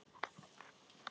Vissi ekki af henni.